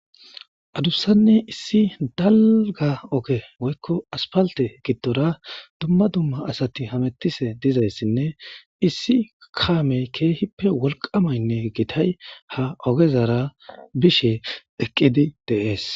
Adussane issi daligga ogge woyiko assifalite giddora duma duma assati hemetishe dizayissane issi kameyi kehippe woliqamayine gittayi ha ogezara bishe eqidi deyesi.